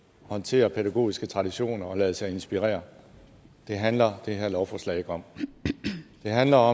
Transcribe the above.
håndtere pædagogiske traditioner og lade sig inspirere det handler det her lovforslag ikke om det handler